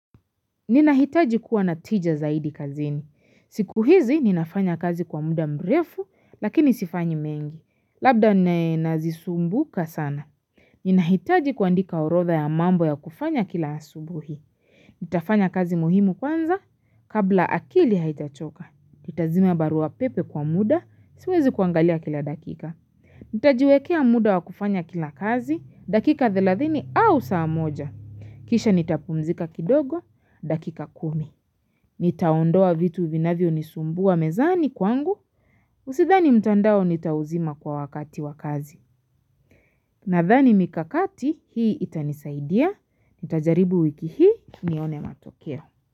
Ninahitaji kuwa na tija zaidi kazini. Siku hizi, ninafanya kazi kwa muda mrefu, lakini sifanyi mengi. Labda nazisumbuka sana. Ninahitaji kuandika orodha ya mambo ya kufanya kila asubuhi. Nitafanya kazi muhimu kwanza, kabla akili haijachoka. Nitazima barua pepe kwa muda, siwezi kuangalia kila dakika. Nitajiwekea muda wabkufanya kila kazi, dakika 30 au saa moja. Kisha nitapumzika kidogo, dakika 10. Nitaondoa vitu vinavyonisumbua mezani kwangu, usidhani mtandao nitauzima kwa wakati wakazi. Nadhani mikakati hii itanisaidia, nitajaribu wiki hii nione matokeo.